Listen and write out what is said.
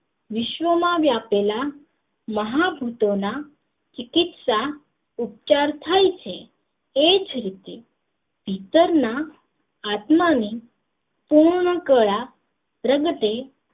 વિશ્વ માં વ્યાપેલા મહાભુતો ની ચિકિત્સા ઉપચાર થાય છે એ જ રીતે ભીતર ના આત્મા ને પૂર્ણાકરા પ્રગટે